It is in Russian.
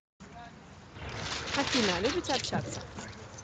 афина любите общаться